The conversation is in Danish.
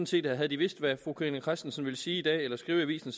set at havde de vidst hvad fru carina christensen ville sige i dag eller skrive i avisen